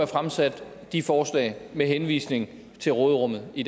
fremsat de forslag med henvisning til råderummet i